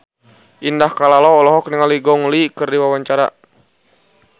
Indah Kalalo olohok ningali Gong Li keur diwawancara